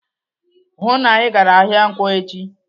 "Hụụ na Ị gara ahịa nkwọ echi!"